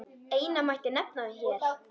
Eina mætti nefna hér.